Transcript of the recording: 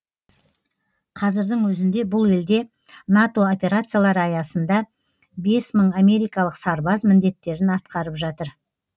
қазірдің өзінде бұл елде нато операциялары аясында бес мың америкалық сарбаз міндеттерін атқарып жатыр